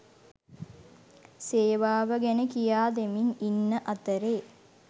සේවාව ගැන කියා දෙමින් ඉන්න අතරේ